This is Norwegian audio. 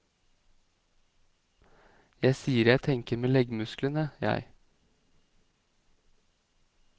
Jeg sier jeg tenker med leggmusklene, jeg.